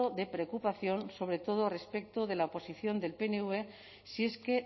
de preocupación sobre todo respecto de la oposición del pnv si es que